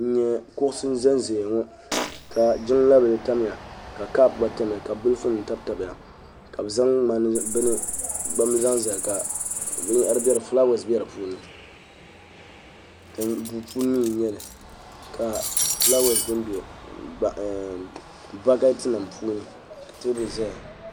n nyɛ kuɣusi nyɛla ʒɛnʒɛya ŋɔ ka jiŋla bili tamya ka kaap gba tamya ka bin piɛlli tabitabiya ka bi zaŋ gbambili zaŋ zali ka fulaawaasi bɛ di puuni duu puuni mii n nyɛli ka fulaawes bɛnbɛ bakɛt nim puuni ka teebuli ʒɛya